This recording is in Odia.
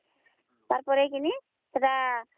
ଖୋଲିଦେବା ସେଟାକେ